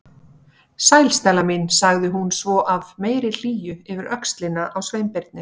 Sæl, Stella mín- sagði hún svo af meiri hlýju yfir öxlina á Sveinbirni.